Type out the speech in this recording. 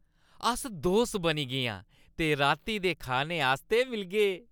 अस दोस्त बनी गे आं ते राती दे खाने आस्तै मिलगे।